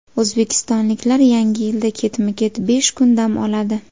O‘zbekistonliklar Yangi yilda ketma-ket besh kun dam oladi .